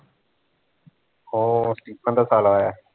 ਓਹ ਸਟੀਫਨ ਦਾ ਸਾਲਾ ਆਇਆ